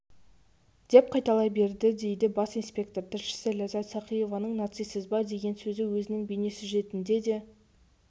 деп қайталай берді дейді бас инспектор тілшісі ляззат сақиеваның нацистсіз ба деген сөзі өзінің бейнесюжетінде де